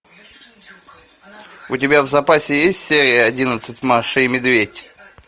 у тебя в запасе есть серия одиннадцать маша и медведь